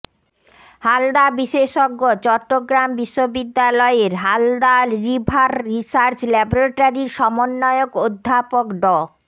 হালদা বিশেষজ্ঞ চট্টগ্রাম বিশ্ববিদ্যালয়ের Halda river research ল্যাবরেটরির সমন্বয়ক অধ্যাপক ড